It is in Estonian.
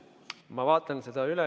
Ma vaatan selle üle.